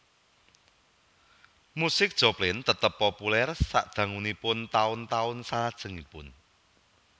Musik Joplin tetap populer sadangunipun taun taun salajengipun